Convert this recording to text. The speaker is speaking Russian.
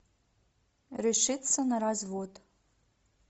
решиться на развод